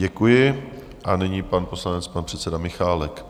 Děkuji a nyní pan poslanec, pan předseda Michálek.